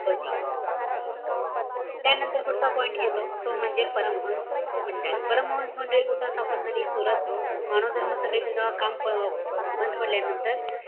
होती. त्यानंतर पुढचा point येतो, तो म्हणजे परमहंस मंडळी. परमहंस मंडळी कुठं स्थापन झाली? सुरत, मानव धर्म सभेचं जेव्हा काम अं बंद पडल्यानंतर,